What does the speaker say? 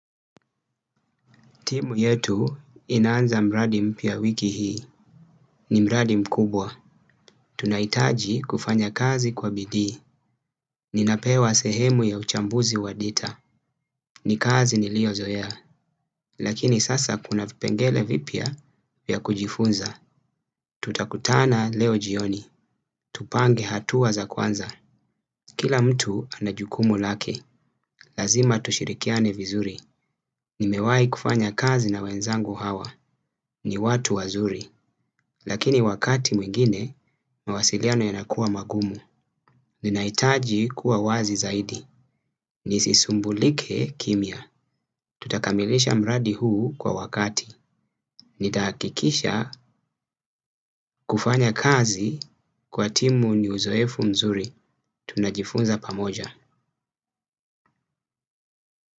Timu yetu inaanza mradi m pya wiki hii. Ni mradi m kubwa. Tunaitaji kufanya kazi kwa bidii. Ninapewa sehemu ya uchambuzi wa dita. Ni kazi ni lio zoea. Lakini sasa kuna vipengele vipya vya kujifunza. Tutakutana leo jioni. Tupange hatua za kwanza. Kila mtu anajukumu lake. Lazima tushirikiane vizuri. Ni mewai kufanya kazi na wenzangu hawa, ni watu wazuri. Lakini wakati mwingine, mawasiliano yanakuwa magumu. Ninaitaji kuwa wazi zaidi, nisisumbulike kimia. Tutakamilisha mradi huu kwa wakati. Nitahakikisha kufanya kazi kwa timu ni uzoefu mzuri. Tunajifunza pamoja.